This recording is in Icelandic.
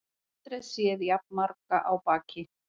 Aldrei séð jafn marga á baki